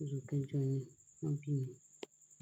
oṣù kẹjọ ni wọ́n bí mi.